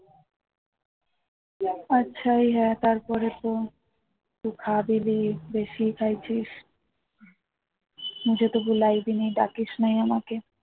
তারপরে তো তুই খাবিনা বেশি খেয়েছিস ডাকিসনি আমাকে